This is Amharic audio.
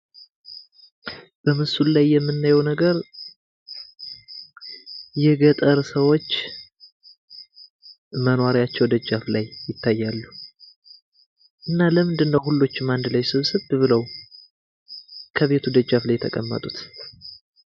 በምስሉ ላይ የምናየው ነገር የገጠር ሰዎች መኖሪያቸው ደጃፍ ላይ ይታያሉ። እና ለምንድነው ሁላቸው አንድ ላይ ስብስብ ብለው ከቤቱ ደጃፍ ላይ የተቀመጡት?